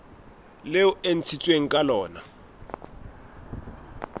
leo e ntshitsweng ka lona